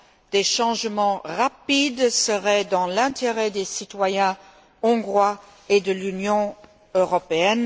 Des changements rapides seraient dans l'intérêt des citoyens hongrois et de l'Union européenne.